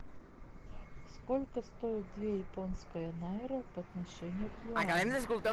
сколько стоит две японская найра по отношению к юаню